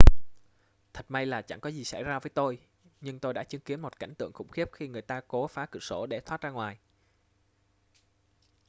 thật may là chẳng có gì xảy ra với tôi nhưng tôi đã chứng kiến một cảnh tượng khủng khiếp khi người ta cố phá cửa sổ để thoát ra ngoài